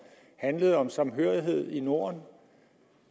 handlede om samhørighed i norden